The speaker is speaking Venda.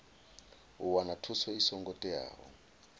u wana thuso i songo teaho